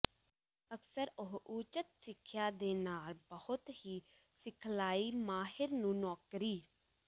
ਅਕਸਰ ਉਹ ਉਚਿਤ ਸਿੱਖਿਆ ਦੇ ਨਾਲ ਬਹੁਤ ਹੀ ਸਿਖਲਾਈ ਮਾਹਿਰ ਨੂੰ ਨੌਕਰੀ